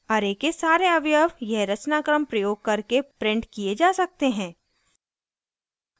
array के सारे अवयव यह रचनाक्रम प्रयोग करके printed किये जा सकते हैं